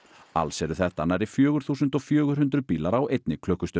alls eru þetta nærri fjögur þúsund fjögur hundruð bílar á einni klukkustund